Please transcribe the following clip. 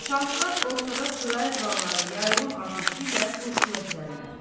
Nişançılar ortada sıraya duranlara yayılım atəşi ilə qurşuna düzərlər.